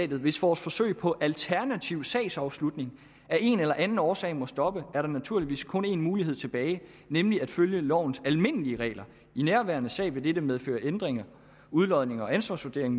hvis vores forsøg på alternativ sagsafslutning af en eller anden årsag må stoppe er der naturligvis kun en mulighed tilbage nemlig at følge lovens almindelige regler i nærværende sag vil dette medføre ændringer udlodninger og ansvarsvurdering